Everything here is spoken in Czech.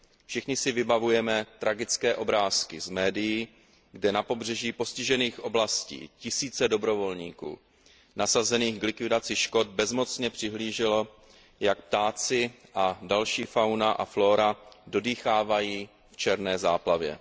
Všichni si vybavujeme tragické obrázky z médií, kde na pobřeží postižených oblastí tisíce dobrovolníků nasazených k likvidaci škod bezmocně přihlíželo, jak ptáci a další fauna a flóra dodýchávají v černé záplavě.